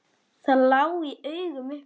Það lá í augum uppi.